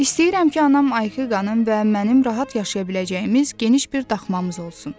İstəyirəm ki, anam ayqanın və mənim rahat yaşaya biləcəyimiz geniş bir daxmamız olsun.